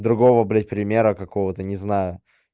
другого блять примера какого-то не знаю